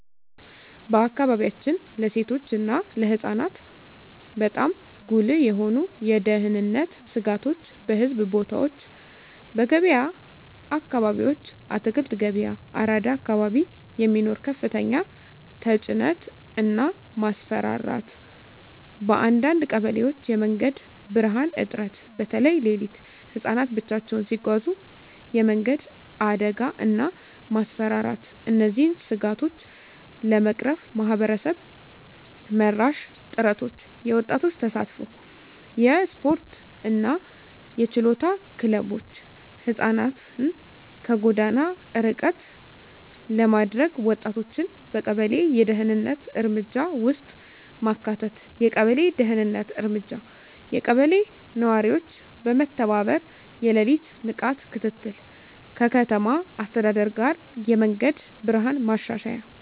በአካባቢያችን ለሴቶች እና ለህፃናት በጣም ጉልህ የሆኑ የደህንነት ስጋቶች :- በሕዝብ ቦታዎች *በገበያ አካባቢዎች (አትክልት ገበያ፣ አራዳ አካባቢ) የሚኖር ከፍተኛ ተጭነት እና ማስፈራራት *በአንዳንድ ቀበሌዎች የመንገድ ብርሃን እጥረት (በተለይ ሌሊት) *ህፃናት ብቻቸውን ሲጓዙ የመንገድ አደጋ እና ማስፈራራት እነዚህን ስጋቶች ለመቅረፍ ማህበረሰብ መራሽ ጥረቶች :- የወጣቶች ተሳትፎ *የስፖርትና የችሎታ ክለቦች (ህፃናትን ከጎዳና ርቀት ለማድረግ) *ወጣቶችን በቀበሌ የደህንነት እርምጃ ውስጥ ማካተት የቀበሌ ደህንነት እርምጃ *የቀበሌ ነዋሪዎች በመተባበር የሌሊት ንቃት ክትትል *ከከተማ አስተዳደር ጋር የመንገድ ብርሃን ማሻሻያ